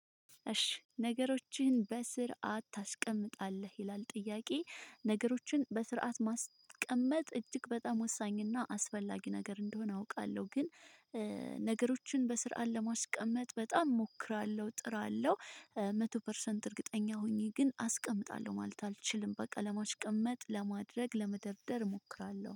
እሺ ነገሮችህን በስርዓት ታስቀምጣለህ ይላል ጥያቄ? ነገሮችን በስርዓት ማስቀመጥ እጅግ በጣም ወሳኝና አስፈላጊ ነገር እንደሆነ አውቃለሁ። ግን ነገሮችን በስርዓት ለማስቀመጥ በጣም እሞክራለሁ ጥራለሁ። መቶ ፐርሰንት እርግጠኛ ሆኜ ግን አስቀምጣለሁ ማለት አልችልም። በቃ ለማሽቀመጥ ለማድረግ ለመደርደር እሞክራለሁ